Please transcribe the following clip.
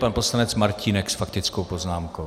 Pan poslanec Martínek s faktickou poznámkou.